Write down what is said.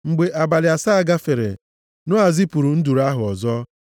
Mgbe abalị asaa gafere, Noa zipụrụ nduru ahụ ọzọ